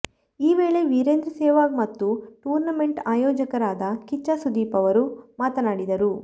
ಈ ವೇಳೆ ವೀರೇಂದ್ರ ಸೆಹವಾಗ್ ಮತ್ತು ಟೂರ್ನಮೆಂಟ್ ಆಯೊಜಕರಾದ ಕಿಚ್ಚ ಸುದೀಪ್ ಅವರು ಮಾತನಾಡಿದರು